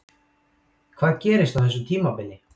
Hvað gerist á þessu tímabili?